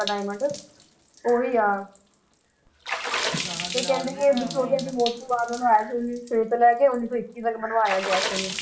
diamond ਉਹੀ ਆ ਤੇ ਕਹਿੰਦੇ ਕਿ ਵਿਕਟੋਰੀਆ ਦੀ ਮੌਤ ਤੋਂ ਬਾਅਦ ਬਣਾਇਆ ਸੀ ਉੱਨੀ ਸੌ ਛੇ ਤੋਂ ਲੈ ਕੇ ਉੱਨੀ ਸੌ ਇੱਕੀ ਤੱਕ ਬਣਵਾਇਆ ਗਿਆ ਸੀ ਇਹਨੂੰ